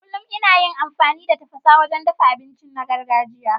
Kullum ina yin amfani da tafasa wajen dafa abinci na gargajiya.